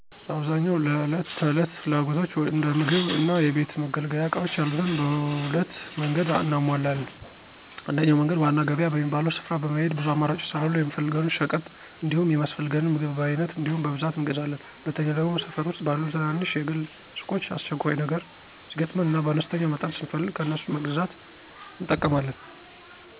በአብዛኛው ለዕለት ተዕለት ፍላጎቶች እንደ ምግብ እና የቤት መገልገያ እቃዎች ያሉትን በሁለት መንገድ እናሟላለን። አንደኛው መንገድ ዋና ገበያ በሚባለው ስፍራ በመሄድ ብዙ አማራጮች ስላሉ የምንፈልገውን ሸቀጥ እንዲሁም የሚያስፈልገንን ምግብ በአይነት እንዲሁም በብዛት እንገዛለን፤ ሁለተኛው ደግሞ ሠፈር ዉስጥ ባሉ ትናንሽ የግል ሱቆች አስቸኳይ ነገር ሲገጥመን እና በአነስተኛ መጠን ስንፈልግ ከነሱ በመግዛት እንጠቀማለን።